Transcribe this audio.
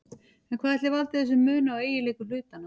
En hvað ætli valdi þessum mun á eiginleikum hlutanna?